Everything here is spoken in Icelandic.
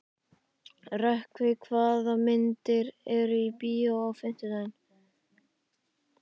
Rökkvi, hvaða myndir eru í bíó á fimmtudaginn?